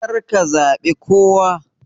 Karka zabe kowa.